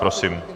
Prosím.